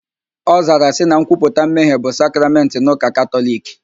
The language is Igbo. Ọ zara sị na nkwuputa mmehie bụ sakramentị n'ụka Katọliki